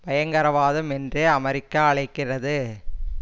பயங்கரவாதம் என்றே அமெரிக்கா அழைக்கிறது